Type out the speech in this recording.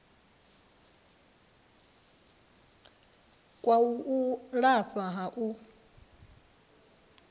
kwa u lafha ha u